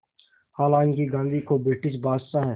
हालांकि गांधी को ब्रिटिश बादशाह